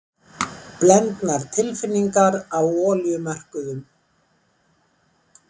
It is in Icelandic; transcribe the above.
Blendnar tilfinningar á olíumörkuðum